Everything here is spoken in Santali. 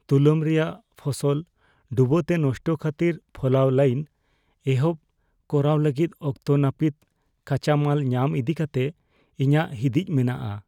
ᱛᱩᱞᱟᱹᱢ ᱨᱮᱭᱟᱜ ᱯᱷᱚᱥᱚᱞ ᱰᱩᱵᱟᱹᱛᱮ ᱱᱚᱥᱴᱚ ᱠᱷᱟᱹᱛᱤᱨ ᱯᱷᱚᱞᱟᱣ ᱞᱟᱹᱭᱤᱱ ᱮᱦᱚᱵ ᱠᱚᱨᱟᱣ ᱞᱟᱹᱜᱤᱫ ᱚᱠᱛᱚ ᱱᱟᱹᱯᱤᱛ ᱠᱟᱪᱟᱢᱟᱞ ᱧᱟᱢ ᱤᱫᱤᱠᱟᱛᱮ ᱤᱧᱟᱹᱜ ᱦᱤᱸᱫᱤᱡ ᱢᱮᱱᱟᱜᱼᱟ ᱾